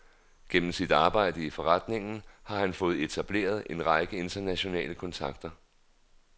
Gennem sit arbejde i foreningen har han fået etableret en række internationale kontakter.